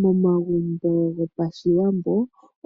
Momagumbo gopashiwambo